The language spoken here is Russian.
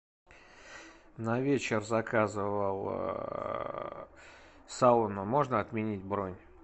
на вечер заказывал сауну можно отменить бронь